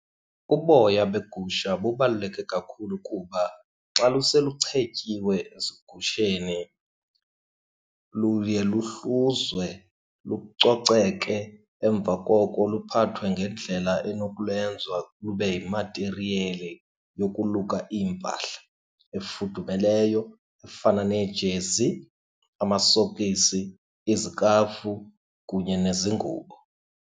Uboya begusha bubaluleke kakhulu. Kuba xa luseluchetyiwe ezigusheni luye luhluzwe lucoceke, emva koko luphathwe ngendlela elinokulenza lube yimatiriyeli yokuluka iimpahla efudumeleyo efana neejezi, amasokisi, izikafu, kunye nezingubo.